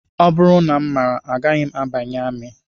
Ọ bụrụ na m maara agaghị m abanye amị